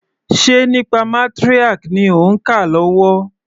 Ṣe nípa matriarch ni òń kà lọ́wọ́?